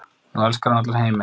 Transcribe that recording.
Nú elskar hann allan heiminn.